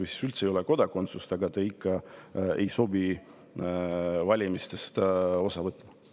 Ja kui ka üldse ei ole kodakondsust, siis nad ikka ei sobi valimistest osa võtma.